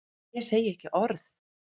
Ég segi ekki orð.